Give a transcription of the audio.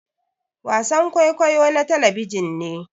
wasan kwaikwayo na talabijin ne